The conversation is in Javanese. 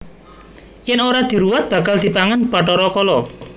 Yen ora diruwat bakal dipangan Bathara Kala